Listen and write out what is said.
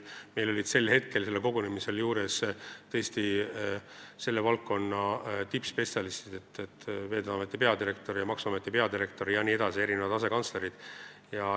Sellel kogunemisel olid ka selle valdkonna tippspetsialistid, Veeteede Ameti peadirektor ja maksuameti peadirektor, erinevad asekantslerid.